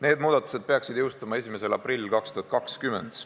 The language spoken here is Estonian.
Need muudatused peaksid jõustuma 1. aprillil 2020.